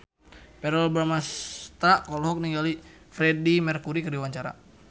Verrell Bramastra olohok ningali Freedie Mercury keur diwawancara